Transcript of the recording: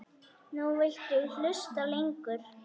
Nú viltu hlusta lengur.